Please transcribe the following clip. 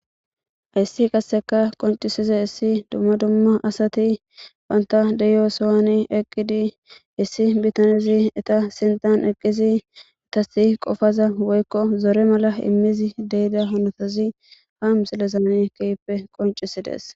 Ayssi qasseka qoncisiza issi dumma dumma asati banta deyosowani eqqidi issi bitanizi ita sintan eqqizi etasi qofaza woykko zore mala immizi deyida honotazi ha mixilezan kiyppe qoncisides.